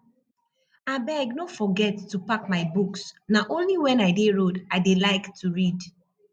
abeg no forget to pack my books na only wen i dey road i dey like to read